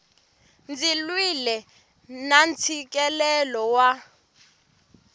ndzi lwile na ntshikelelo wa